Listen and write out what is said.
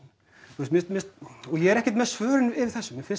og ég er ekkert með svörin við þessu mér finnst